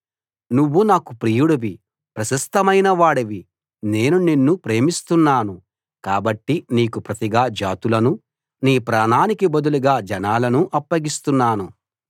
నువ్వు నాకు ప్రియుడివి ప్రశస్తమైనవాడివి నేను నిన్ను ప్రేమిస్తున్నాను కాబట్టి నీకు ప్రతిగా జాతులను నీ ప్రాణానికి బదులుగా జనాలను అప్పగిస్తున్నాను